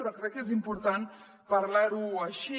però crec que és important parlar ho així